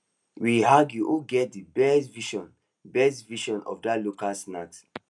we argue who get the best version best version of that local snack